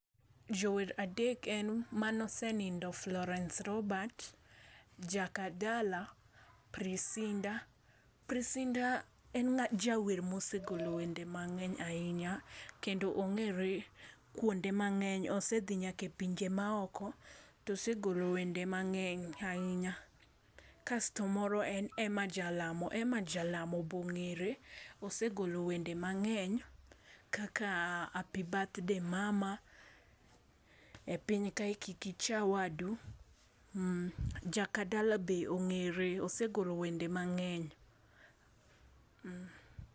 Jower adek en mane osenindo Florence Robert, Jakadala ,Prince indah. Prince indah en jawer mosegolo wende mangeny ahinya kendo ongere kuonde mangeny. Osedhi nyaka e pinje maoko, tosegolo wende mangeny ahinya. Kasto moro be en Emma Jalamo, Emma jalamo bongere, osegolo wend emangeny kaka happy birthday mama, e piny ka kik icha wadu. Jakadala be ongere, osegolo wend emangeny, mmh